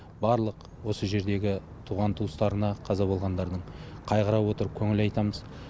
барлық осы жердегі туған туыстарына қаза болғандардың қайғыра отырып көңіл айтамыз